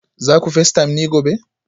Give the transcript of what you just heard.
za ku facetime ni gobe